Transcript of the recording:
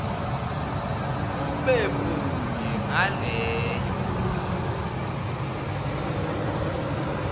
ube munye ngaleyo